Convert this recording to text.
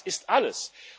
Das ist alles.